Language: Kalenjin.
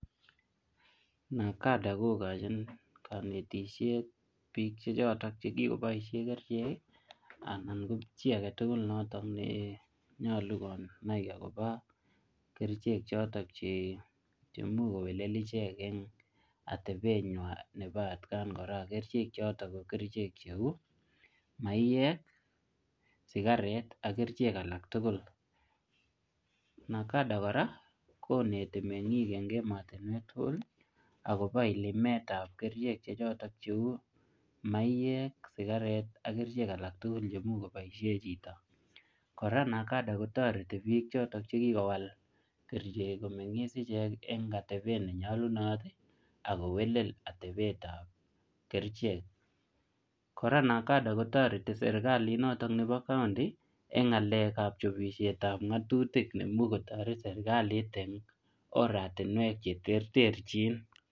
NACADA kokochin kanetisiet biik che chotok che kikoboisie kerichek, anan ko chi age tugul nenyolu konai kiy akobo kerichek chotok, che, che imuch kowelel icheket atebet nywaa nebo takaan kora. Kerichek chotok ko kerichek cheu maiyek, sigaret ak kerichek alak tugul. NACADA kora, koneti meng'ik eng emotunwek tugul akobo ilimetab kerichek che chotok cheu maiyek, sigaret, ak kerichek alak tugul che imuch koboisie chito. Kora NACADA kotoreti biik chotok che kikowal kerichek komeng'is icheck eng atebet ne nyolunot, akowelel atebetab kerichek. Kora NACADA kotoreti serikalit notok nebo county eng ngalekab chopishetab ngatutik neimuch kotoret serikalit eng oratinwek che terterchin.